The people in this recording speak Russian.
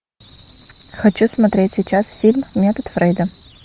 хочу смотреть сейчас фильм метод фрейда